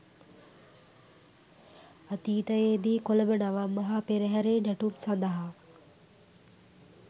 අතීතයේදී කොළඹ නවම් මහා පෙරහරේ නැටුම් සඳහා